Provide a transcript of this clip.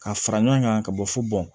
Ka fara ɲɔgɔn kan ka bɔ fo bɔn